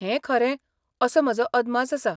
हें खरें असो म्हजो अदमास आसा.